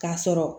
K'a sɔrɔ